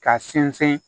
K'a sinsin